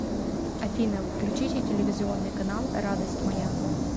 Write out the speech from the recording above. афина включите телевизионный канал радость моя